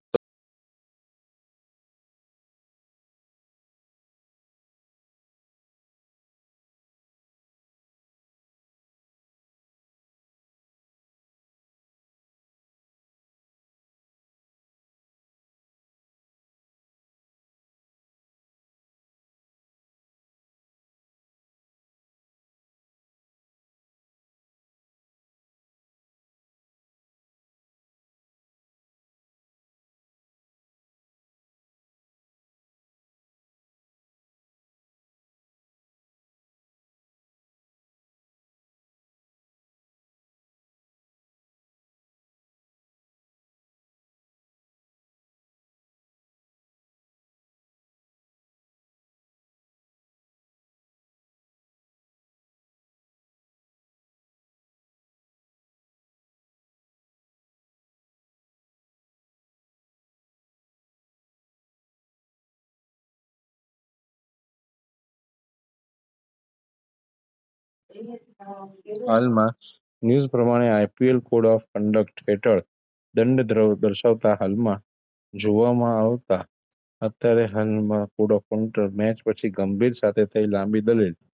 હાલમાં news પ્રમાણે IPLcode of conduct હેઠળ દંડદ્રવ દર્શાવતાં હાલમાં જોવામાં આવતાં અત્યારે હાલમાં code of counter match પછી ગંભીર સાથે થઇ લાંબી દલીલ,